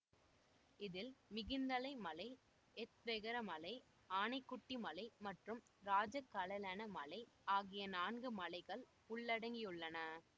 இதில் மிகிந்தலை மலை எத்வெகர மலை ஆனைக்குட்டி மலை மற்றும் ராஜகலலென மலை ஆகிய நான்கு மலைகள் உள்ளடங்கியுள்ளன